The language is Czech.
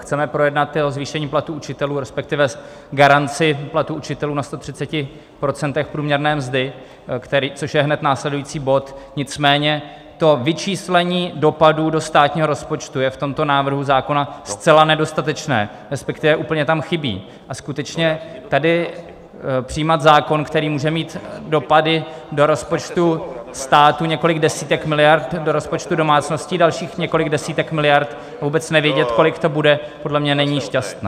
Chceme projednat zvýšení platů učitelů, respektive garanci platů učitelů na 130 % průměrné mzdy, což je hned následující bod, nicméně to vyčíslení dopadů do státního rozpočtu je v tomto návrhu zákona zcela nedostatečné, respektive úplně tam chybí, a skutečně tady přijímat zákon, který může mít dopady do rozpočtu státu několik desítek miliard, do rozpočtu domácností dalších několik desítek miliard, a vůbec nevědět, kolik to bude, podle mě není šťastné.